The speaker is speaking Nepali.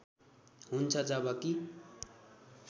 हुन्छ जब कि